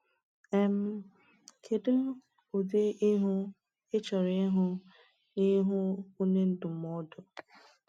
um Kedu ụdị ihu ị chọrọ ịhụ n’ihu onye ndụmọdụ?